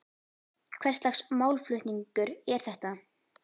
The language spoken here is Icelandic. Hvers lags málflutningur er þetta?